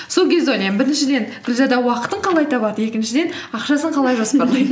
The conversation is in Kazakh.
сол кезде ойлаймын біріншіден гүлзада уақытын қалай табады екіншіден ақшасын қалай жоспарлайды